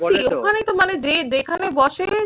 ওখানেই তো মানে যে যেখানে বসে